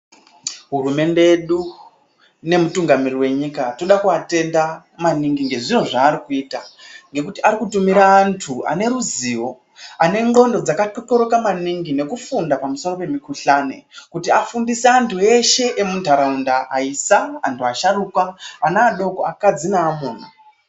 Hurumende yedu nemutungamiriri venyika toda kuvatenda maningi ngezviro zvaari kuita. Ngekuti akutumira antu aneruzivo anendxondo dzakatxotxoroka maningi ngekufunda pamusoro pemukuhlani kuti afundise antu eshe emuntaraunda aisa, antu asharuka, ana adoko, akadzi naamuna.